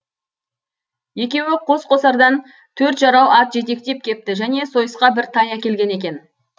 екеуі қос қосардан төрт жарау ат жетектеп кепті және сойысқа бір тай әкелген екен